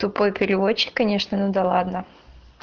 тупой переводчик конечно надо ладно